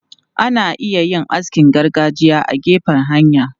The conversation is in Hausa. Ana iya yin askin gargajiya a gefen hanya.